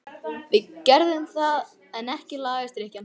Við gerðum það en ekki lagaðist drykkjan.